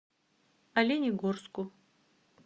оленегорску